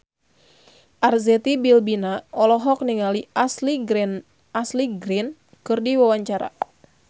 Arzetti Bilbina olohok ningali Ashley Greene keur diwawancara